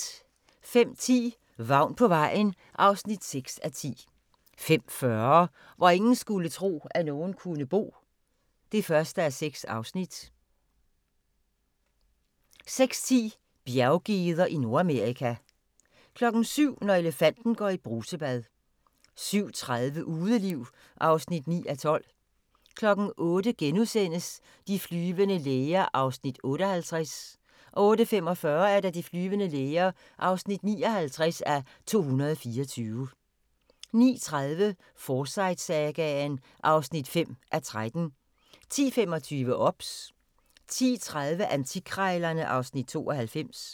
05:10: Vagn på vejen (6:10) 05:40: Hvor ingen skulle tro, at nogen kunne bo (1:6) 06:10: Bjerggeder i Nordamerika 07:00: Når elefanten går i brusebad 07:30: Udeliv (9:12) 08:00: De flyvende læger (58:224)* 08:45: De flyvende læger (59:224) 09:30: Forsyte-sagaen (5:13) 10:25: OBS 10:30: Antikkrejlerne (Afs. 92)